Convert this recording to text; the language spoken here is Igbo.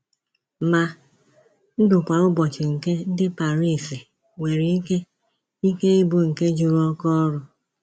Ma, ndụ kwa ụbọchị nke ndị Paris nwere ike ike ịbụ nke juru oke ọrụ.